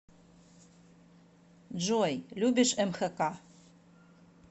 джой любишь мхк